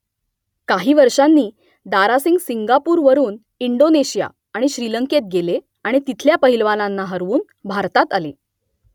काही वर्षांनी दारासिंग सिंगापूरवरून इंडोनेशिया आणि श्रीलंकेत गेले आणि तिथल्या पहिलवानांना हरवून भारतात आले